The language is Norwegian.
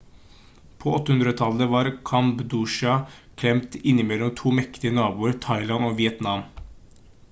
på 1800-tallet var kambodsja klemt innimellom 2 mektige naboer thailand og vietnam